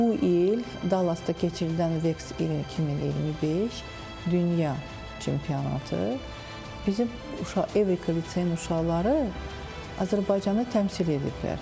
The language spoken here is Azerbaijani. Bu il Dallasda keçirilən Vex Robotics 2025 Dünya çempionatı bizim uşaq Evrika litseyin uşaqları Azərbaycanı təmsil ediblər.